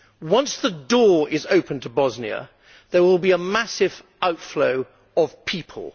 Once the door is open to Bosnia, there will be a massive outflow of people.